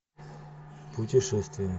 путешествие